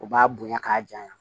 U b'a bonya k'a janya